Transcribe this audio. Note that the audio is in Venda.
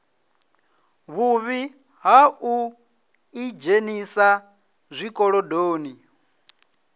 vhuvhi ha u ḓidzhenisa zwikolodoni